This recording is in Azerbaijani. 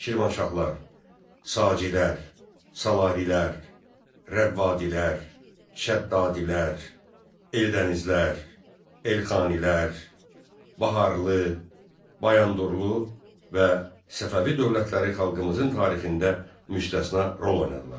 Şirvanşahlar, Sacilər, Salarilər, Rəvvadilər, Şəddadilər, Eldənizlər, Elxanilər, Baharlı, Bayandurlu və Səfəvi dövlətləri xalqımızın tarixində müstəsna rol oynadılar.